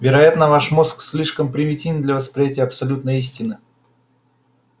вероятно ваш мозг слишком примитивен для восприятия абсолютной истины